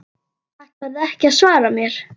Ætlarðu ekki að svara mér?